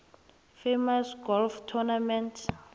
famous golf tournament